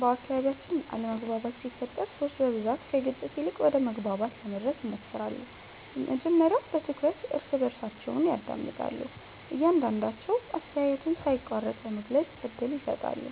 በአካባቢያችን አለመግባባት ሲፈጠር ሰዎች በብዛት ከግጭት ይልቅ ወደ መግባባት ለመድረስ ይሞክራሉ። መጀመሪያ በትኩረት እርስ በርሳቸውን ያዳምጣሉ፣ እያንዳቸዉ አስተያየቱን ሳይቋረጥ ለመግለጽ እድል ይሰጣሉ።